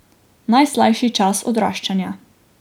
Najslajši čas odraščanja.